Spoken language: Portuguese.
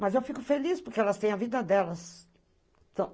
Mas eu fico feliz, porque elas têm a vida delas.